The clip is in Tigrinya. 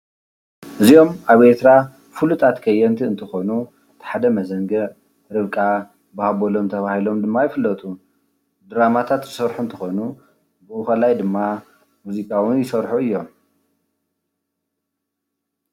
እዚኦም ኣብ ኤርትራ ፍሉጣት ከየንቲ እንትኾኑ እቲ ሓደ መዘንግዕ፣ ርብቃ፣ ብሃበሎም ተባሂሎም ድማ ይፍለጡ። ድራማታት ዝሰርሑ እንትኮኑ ቡኡ ኮላይ ድማ ሙዚቃ እዉን ይሰርሑ አዮም።